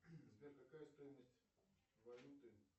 сбер какая стоимость валюты